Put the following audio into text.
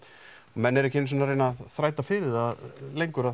menn eru ekki einu sinni að reyna að þræta fyrir það lengur að